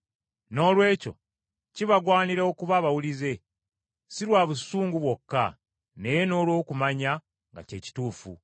Noolwekyo kibagwanira okuba abawulize, si lwa busungu bwokka, naye n’olw’okumanya nga kye kituufu.